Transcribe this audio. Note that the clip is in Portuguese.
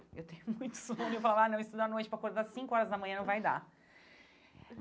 Eu tenho muito sono e eu falo, ah, não, estudar à noite para acordar às cinco horas da manhã não vai dar.